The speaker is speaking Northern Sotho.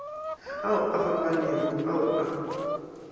ao a fapanego ao a